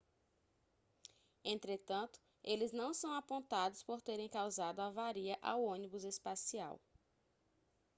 entretanto eles não são apontados por terem causado avaria ao ônibus espacial